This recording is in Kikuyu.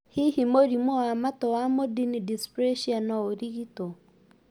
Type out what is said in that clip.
Hihi mũrĩmũ wa matũ wa mondini dysplasia no ũrigitwo